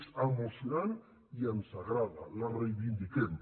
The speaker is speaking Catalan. és emocionant i ens agrada la reivindiquem